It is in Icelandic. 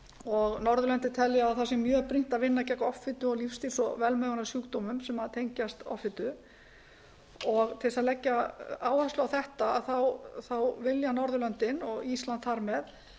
og norðurlöndin telja að það sé mjög bent að vinna gegn offitu og lífsstíl og velmegunarsjúkdómum sem tengjast offitu til að leggja áherslu á þetta vilja norðurlöndin og ísland þar með